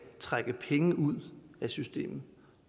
trække penge ud af systemet